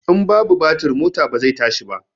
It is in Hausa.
In babu batir mota ba zai tashi ba